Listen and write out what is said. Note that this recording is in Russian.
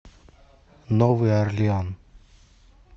новый орлеан